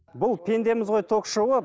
бұл пендеміз ғой ток шоуы